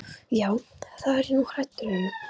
Já, það er ég nú hræddur um.